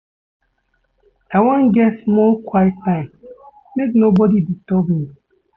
I wan get small quiet time, make nobodi disturb me.